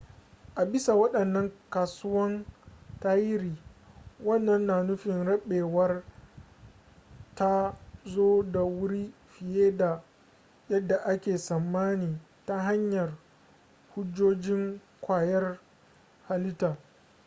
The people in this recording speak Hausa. a bisa waɗannan ƙasusuwan tarihi wannan na nufin rabewar ta zo da wuri fiye da yadda ake tsammani ta hanyar hujjojin ƙwayar halitta